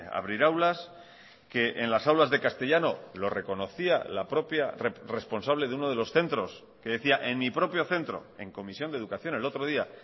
abrir aulas que en las aulas de castellano lo reconocía la propia responsable de uno de los centros que decía en mi propio centro en comisión de educación el otro día